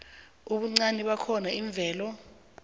ubuncani bakhona iimveke